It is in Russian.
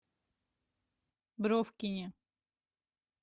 бровкине